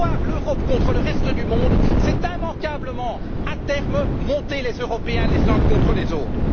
Vouloir l'Europe contre le reste du monde, c'est immanquablement, à terme, monter les Européens les uns contre les autres.